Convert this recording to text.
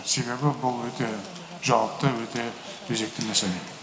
себебі бұл өте жауапты өте өзекті мәселе